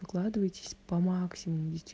укладываетесь по максимуму